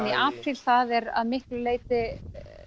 í apríl það er að miklu leyti